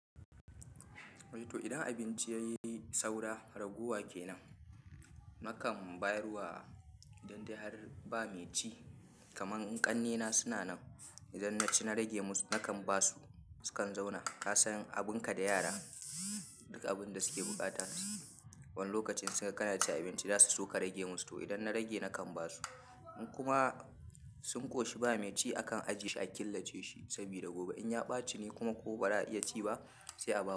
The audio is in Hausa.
Idan abinci yayi saura ragowa kenan, nakan bayar wa idan dai har ba mai ci. Kamar in ƙanne na suna nan, idan naci na rage musu, nakan basu sukan zauna. Kasan abun ka da yara, duk abun da suke buƙata, wani lokacin sai kana cin abinci za su so ka rage musu to idan na rage nakan basu. In kuma sun ƙoshi ba mai ci akan ajiye shi a killace shi, sabida gobe in ya ɓaci ni kuma ko ba za a iya ci ba, sai a bawa.